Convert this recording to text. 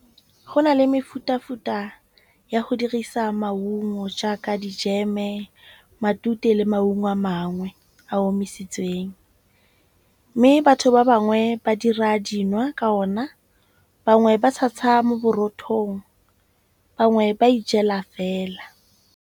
Go na le mefutafuta ya go dirisa maungo jaaka dijeme, matute le maungo a mangwe a omisitsweng. Mme batho ba bangwe ba dira dinwa ka ona. Bangwe ba tshasa mo borothong bangwe ba ijela fela.